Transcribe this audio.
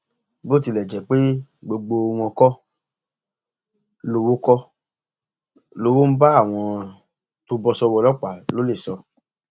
ó ní lójúẹsẹ làwọn ti mú ọnà abúlé náà pọn káwọn lè pèsè ààbò fáwọn èèyàn ibẹ